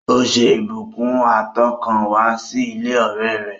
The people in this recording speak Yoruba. Ó ṣe ìbùkún àtọkànwá sí ilé ọ̀rẹ́ rẹ̀